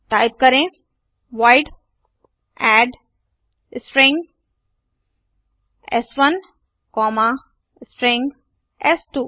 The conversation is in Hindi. टाइप करें void add string s one comma string S2